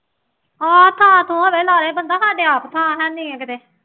ਆਹ ਤਾਂ ਤੂੰ ਹੁਣੇ ਲਾ ਦੇ ਬੰਦਾ ਸਾਡੇ ਤਾਂ ਆਪ ਥਾਂ ਹੈ ਨਹੀਂ ਹੈ ਕਿਤੇ